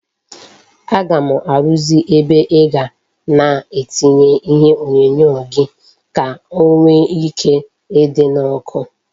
Aga m arụzị ebe ịga na etinye ihe onyonyo gi ka o nwe ike idi na oku